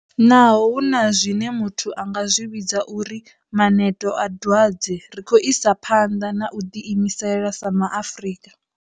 Naho hu na zwine muthu a nga zwi vhidza uri maneto a dwadze ri khou isa phanḓa na u ḓi imisela sa ma Afrika.